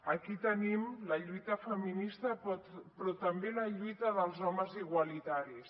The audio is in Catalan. aquí tenim la lluita feminista però també la lluita dels homes igualitaris